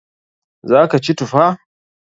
Za ka ci tufa?